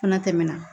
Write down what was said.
Fana tɛmɛna